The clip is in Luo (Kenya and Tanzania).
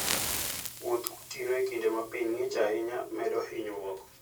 Wuoth gotieno e kinde ma piny ng'ich ahinya, medo hinyruok.